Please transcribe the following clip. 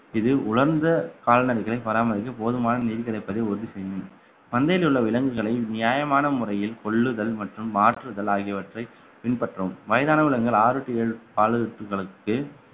இது உலர்ந்த கால்நடைகளை பராமரிக்க போதுமான நீர் கிடைப்பதை உறுதி செய்யுங்க மந்தையில் உள்ள விலங்குகளை நியாயமான முறையில் கொல்லுதல் மற்றும் மாற்றுதல் ஆகியவற்றை பின்பற்றவும் வயதான விலங்குகள் ஆறு to ஏழு காலத்துகளுக்கு